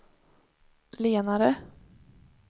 lenare